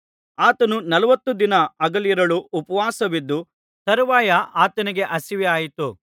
ಆತನು ನಲವತ್ತು ದಿನ ಹಗಲಿರುಳು ಉಪವಾಸವಿದ್ದ ತರುವಾಯ ಆತನಿಗೆ ಹಸಿವಾಯಿತು